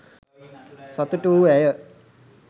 සතුටු වූ ඇය